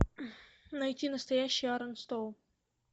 найти настоящий арон стоун